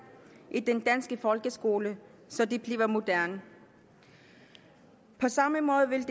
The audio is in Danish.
i den danske folkeskole så de bliver moderne på samme måde vil